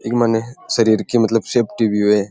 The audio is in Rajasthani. एक मायने शरीर की मतलब सेफ्टी भी है।